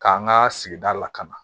K'an ka sigida lakana